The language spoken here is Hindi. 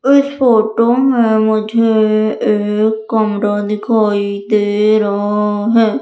इस फोटो में मुझे एक कमरा दिखाई दे रहा है।